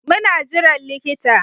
Muna jiran likita